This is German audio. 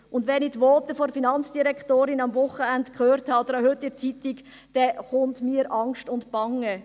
Und wenn ich die Voten der Finanzdirektorin am Wochenende gehört oder auch heute in der Zeitung gesehen habe, dann wird mir angst und bange: